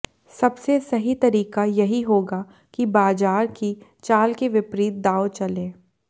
सबसे सही तरीका यही होगा कि बाजार की चाल के विपरीत दाव चलें